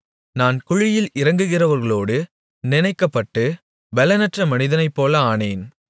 நான் குழியில் இறங்குகிறவர்களோடு நினைக்கப்பட்டு பெலனற்ற மனிதனைப்போல ஆனேன்